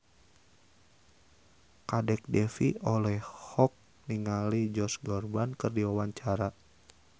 Kadek Devi olohok ningali Josh Groban keur diwawancara